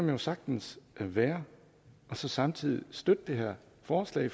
jo sagtens være og så samtidig støtte det her forslag